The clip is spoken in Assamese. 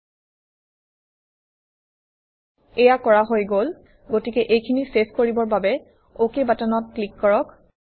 ল্টপাউচেগ্ট এয়া কৰা হৈ গল গতিকে এইখিনি চেভ কৰিবৰ বাবে অক বাটনত ক্লিক কৰিম